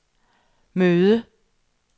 møde